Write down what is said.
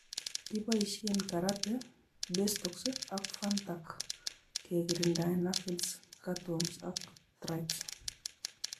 Keboisie Karate, bestox ak fastac kekirindae Aphids, Cutworms ak thrips